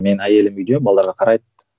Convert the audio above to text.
менің әйелім үйде балаларға қарайды